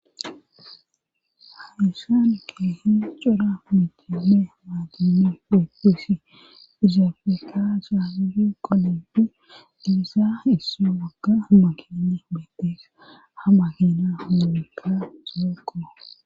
Haishaan keehi cora mitile maagini eotesi izaofeka saagufi qoledu diisa isso wagga makini beetteesa hamahina huumekka solokoa.